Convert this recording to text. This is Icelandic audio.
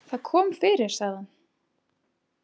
Það kom fyrir, sagði hann.